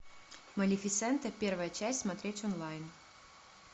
малефисента первая часть смотреть онлайн